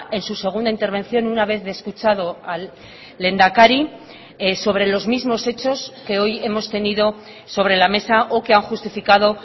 en su segunda intervención una vez de escuchado al lehendakari sobre los mismos hechos que hoy hemos tenido sobre la mesa o que han justificado